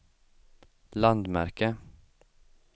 landmärke